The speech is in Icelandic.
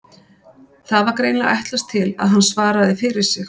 Það var greinilega ætlast til að hann svaraði fyrir sig.